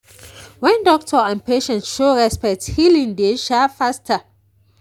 when doctor and patient show respect healing dey um faster.